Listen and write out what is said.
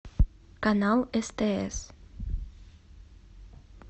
канал стс